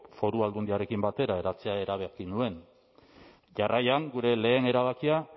foru aldundiarekin batera eratzea erabaki nuen jarraian gure lehen erabakia